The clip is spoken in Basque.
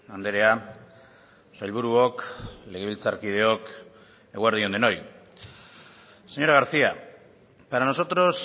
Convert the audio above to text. andrea sailburuok legebiltzarkideok eguerdi on denoi señora garcía para nosotros